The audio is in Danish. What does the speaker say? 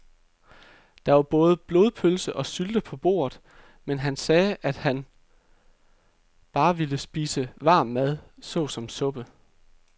Der var både blodpølse og sylte på bordet, men han sagde, at han bare ville spise varm mad såsom suppe.